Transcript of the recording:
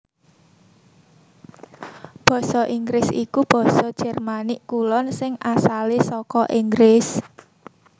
Basa Inggris iku basa Jermanik Kulon sing asalé saka Inggris